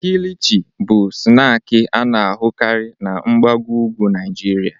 Kilichi bụ snaakị a na-ahụkarị na mgbago ugwu Naịjirịa.